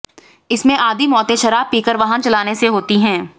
इनमें आधी मौतें शराब पी कर वाहन चलाने से होती हैं